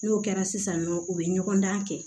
N'o kɛra sisan nɔ u bɛ ɲɔgɔn dan kɛ